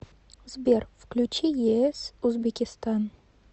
сбер включи ес узбекистан